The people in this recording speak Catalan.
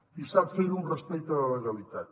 i sap fer ho amb respecte a la legalitat